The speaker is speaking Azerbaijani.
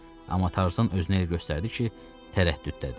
Amma Tarzan özünü elə göstərdi ki, tərəddüddədi.